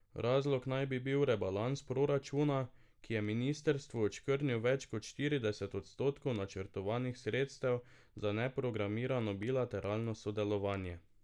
Razlog naj bi bil rebalans proračuna, ki je ministrstvu odškrnil več kot štirideset odstotkov načrtovanih sredstev za neprogramirano bilateralno sodelovanje.